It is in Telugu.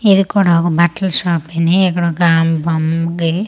ఇది కూడా ఒక బట్టల షాపెనే ఇక్కడ ఒక ఆమె బొమ్మకి ఓ--